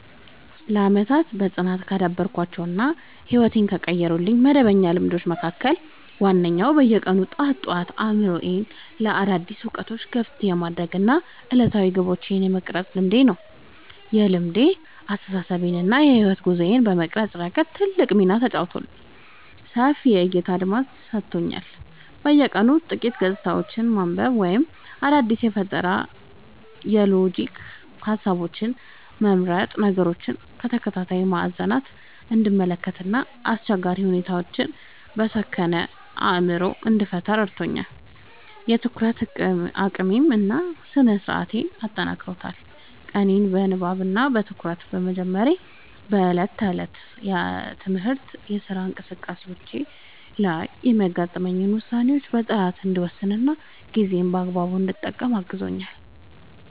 ለዓመታት በጽናት ካዳበርኳቸው እና ሕይወቴን ከቀየሩልኝ መደበኛ ልማዶች መካከል ዋነኛው በየቀኑ ጠዋት ጠዋት አእምሮዬን ለአዳዲስ እውቀቶች ክፍት የማድረግ እና ዕለታዊ ግቦቼን የመቅረጽ ልማዴ ነው። ይህ ልማድ አስተሳሰቤን እና የሕይወት ጉዞዬን በመቅረጽ ረገድ ትልቅ ሚና ተጫውቷል፦ ሰፊ የዕይታ አድማስ ሰጥቶኛል፦ በየቀኑ ጥቂት ገጾችን ማንበብ ወይም አዳዲስ የፈጠራና የሎጂክ ሃሳቦችን መመርመር ነገሮችን ከተለያዩ ማዕዘናት እንድመለከት እና አስቸጋሪ ሁኔታዎችን በሰከነ አእምሮ እንድፈታ ረድቶኛል። የትኩረት አቅሜን እና ስነ-ስርዓቴን አጠናክሯል፦ ቀኔን በንባብ እና በትኩረት በመጀመሬ በዕለት ተዕለት የትምህርትና የሥራ እንቅስቃሴዎቼ ላይ የሚገጥሙኝን ውሳኔዎች በጥራት እንድወስንና ጊዜዬን በአግባቡ እንድጠቀም አግዞኛል።